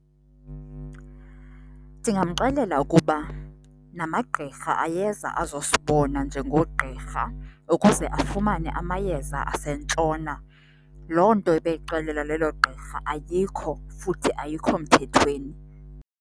Ndingamxelela ukuba namagqirha ayeza azosibona njengoogqirha ukuze afumane amayeza asentshona. Loo nto ebeyixelelwa lelo gqirha ayikho futhi ayikho mthethweni.